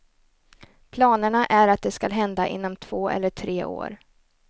Planerna är att det skall hända inom två eller tre år.